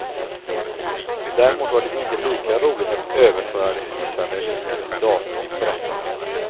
Däremot var det inte lika roligt att överföra de skissade linjerna till datorn, berättar han.